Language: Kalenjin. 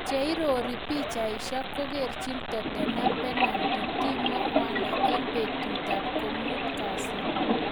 Cheiorori pichaisyek, Kokerjin Tottenham penalty Timo Werner eng betutab komut kasi